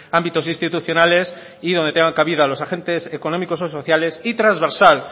ámbitos institucionales y donde tengan cabida los agentes económicos o sociales y trasversal